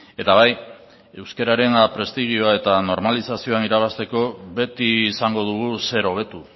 eta bai euskararen prestigioa eta normalizazioan irabazteko beti izango dugu zer hobetu